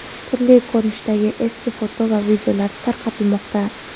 turli ko‘rinishdagi eski foto va videolar tarqatilmoqda.